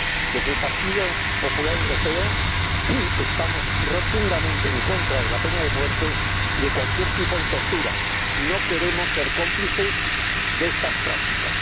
Desde el Partido Popular Europeo, estamos rotundamente en contra de la pena de muerte y de cualquier tipo de tortura y no queremos ser cómplices de estas prácticas.